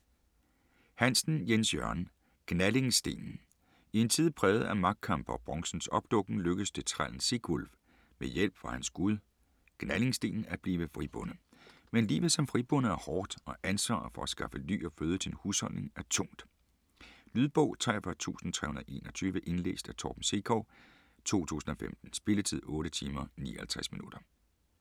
Hansen, Jens Jørgen: Gnallingstenen I en tid præget af magtkampe og bronzens opdukken, lykkes det trællen Sigwulf med hjælp fra hans gud Gnallingstenen at blive fribonde. Men livet som fribonde er hårdt og ansvaret for at skaffe ly og føde til en husholdning er tungt. Lydbog 43321 Indlæst af Torben Sekov, 2015. Spilletid: 8 timer, 59 minutter.